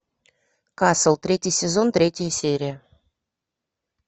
касл третий сезон третья серия